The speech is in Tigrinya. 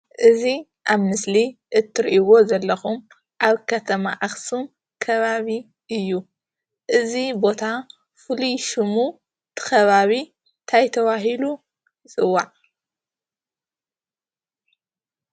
እዚ ኣብ ምስል እትሪእዎ ዘለኩም ኣብ ከተማ አክሱም ከባቢ እዩ። እዚ ቦታ ፉሉይ ሽሙ እቲ ከባቢ እንታይ ተባሂሉ ይፅዋዕ?